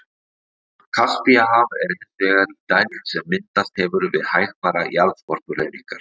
Kaspíahaf er hins vegar í dæld sem myndast hefur við hægfara jarðskorpuhreyfingar.